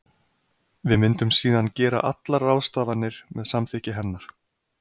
Við myndum síðan gera allar ráðstafanir með samþykki hennar.